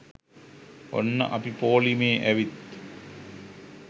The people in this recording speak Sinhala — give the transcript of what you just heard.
ඔන්න අපි පොලිමේ ඇවිත්